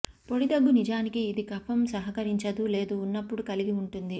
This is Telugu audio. పొడి దగ్గు నిజానికి ఇది కఫం సహకరించదు లేదు ఉన్నప్పుడు కలిగి ఉంటుంది